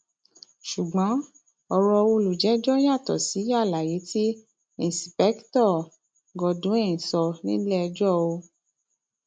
ṣùgbọn ọrọ olùjẹjọ yàtọ sí àlàyé tí ìǹṣìpèkìtọ godwin sọ nílẹẹjọ o